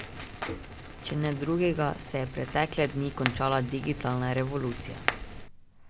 Če ne drugega, se je pretekle dni končala digitalna revolucija.